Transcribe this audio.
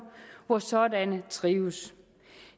hvor sådanne trives